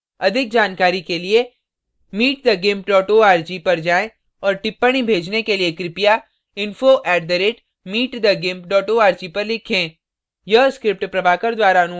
अधिक जानकारी के लिए